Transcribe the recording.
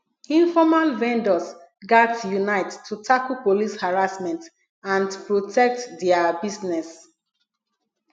informal vendors gats unite to tackle police harassment and protect dia business